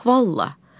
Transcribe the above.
Vallaha.